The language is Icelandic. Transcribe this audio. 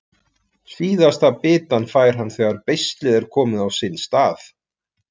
Síðasta bitann fær hann þegar beislið er komið á sinn stað.